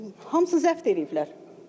Hamısı zəbt eləyiblər.